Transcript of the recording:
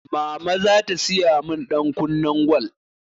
Mama zata siya min ɗankunnen gwal